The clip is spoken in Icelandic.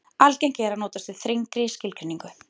algengt er að notast við þrengri skilgreiningu